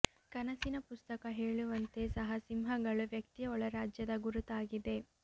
ಕನಸಿನ ಪುಸ್ತಕ ಹೇಳುವಂತೆ ಸಹ ಸಿಂಹಗಳು ವ್ಯಕ್ತಿಯ ಒಳ ರಾಜ್ಯದ ಗುರುತಾಗಿದೆ